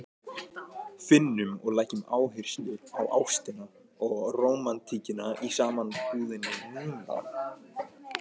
Finnum og leggjum áherslu á ástina og rómantíkina í sambúðinni núna!